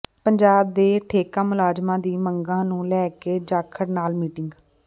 ਪੰਜਾਬ ਦੇ ਠੇਕਾ ਮੁਲਾਜ਼ਮਾਂ ਦੀ ਮੰਗਾਂ ਨੂੰ ਲੈ ਕੇ ਜਾਖੜ ਨਾਲ ਮੀਟਿੰਗ